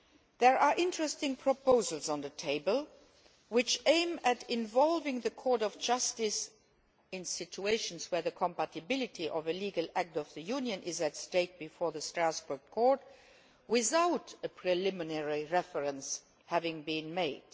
There are interesting proposals on the table which aim at involving the Court of Justice in situations where the compatibility of a legal act of the Union is at stake before the Strasbourg Court, without a preliminary reference having been made.